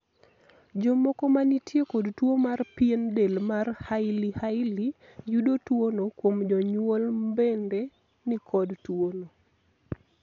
jomoko manitie kod tuo mar pien del mar hailey hailey yudo tuono kuom jonyuol mbende nikod tuono